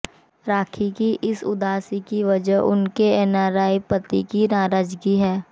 राखी की इस उदासी की वजह उनके एनआरआई पति की नाराजगी है